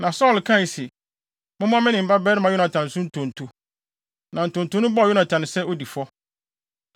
Na Saulo kae se, “Mommɔ me ne me babarima Yonatan so ntonto.” Na ntonto no bɔɔ Yonatan sɛ odi fɔ.